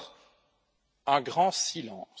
D'abord, un grand silence.